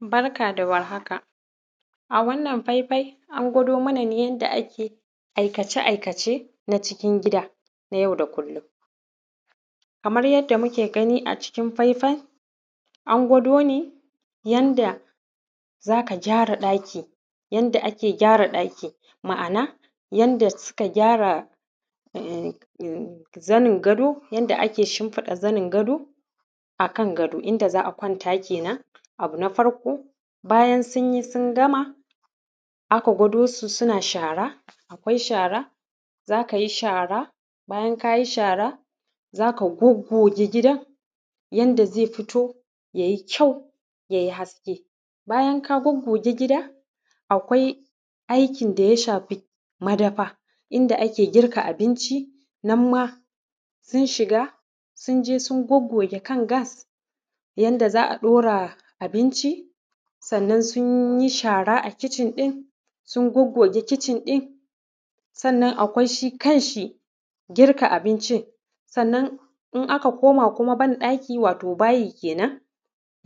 Barka da warhaka. A wannan faifai an gwado mana ne yadda ake aikace-aikace na cikin gida, na yau da kullum. Kamar yadda muke gani a cikin faifai, an gwado ne yanda za ka gyara ɗaki; yanda ake gyara ɗaki, ma'ana yanda suka gyara ummm, zanin gado; yanda ake shimfiɗa zanin gado, a kan gado; inda za a kwanta ke nan. Abu na farko, bayan sun yi sun gama, aka gwado su suna shara, akwai shara, za ka yi shara, bayan ka yi shara, za ka goggoge gidan, yanda zai fito, ya yi kyau, ya yi haske. Bayan ka goggoge gida, akwai aikin da ya shafi madafa, inda ake girka abinci, nan ma sun shiga sun je sun goggoge kan gas, yanda za a ɗora abinci, sannan sun yi shara a kicin din, sun goggoge kicin ɗin. Sannan akwai shi kanshi girka abincin. Sannan in aka koma kuma ban-ɗaki, wato bayi ke nan,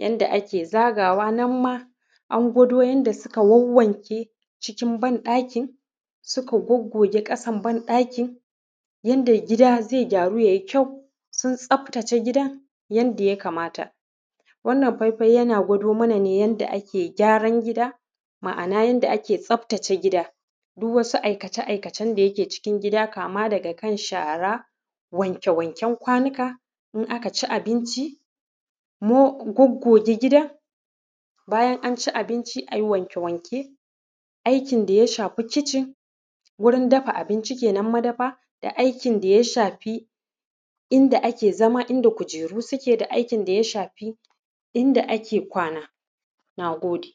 yanda ake zagawa, nan ma an gwado yanda suka wanwanke cikin banɗakin, suka goggoge ƙasan banɗakin, yanda gida zai gyaru ya yi kyau. Sun tsaftace gidan yanda ya kamata. Wannan faifai yana gwado mana ne yanda ake gyaran gida, ma'ana yanda ake tsaftace gida. Duk wasu aikace-aikacen da ke cikin gida, kama daga shara, wanke-wanken kwanuka, in aka ci abinci, mo, goggoge gida. Bayan an ci abinci, a yi wanke-wanke. Aikin da ya shafi kicin, wurin dafa abinci ke nan, nan madafa, da aikin da ya shafi inda ake zama inda kujeru suke da aikin da ya shafi inda ake kwana. Na gode.